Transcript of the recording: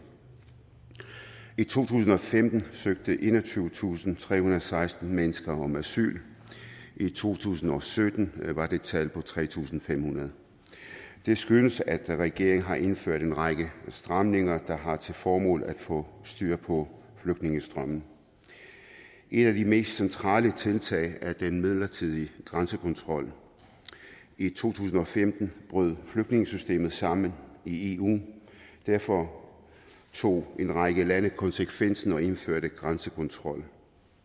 i to tusind og femten søgte enogtyvetusinde og trehundrede og seksten mennesker om asyl i to tusind og sytten var det tal på tre tusind fem hundrede det skyldes at regeringen har indført en række stramninger der har til formål at få styr på flygtningestrømmen et af de mest centrale tiltag er den midlertidige grænsekontrol i to tusind og femten brød flygtningesystemet sammen i eu derfor tog en række lande konsekvensen og indførte grænsekontrol